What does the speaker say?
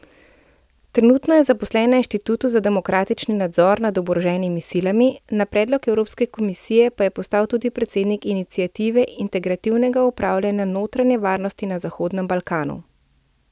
Trenutno je zaposlen na Inštitutu za demokratični nadzor nad oboroženimi silami, na predlog Evropske komisije pa je postal tudi predsednik iniciative Integrativnega upravljanja notranje varnosti na Zahodnem Balkanu.